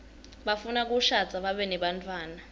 bafuna kushadza babe nebantfwana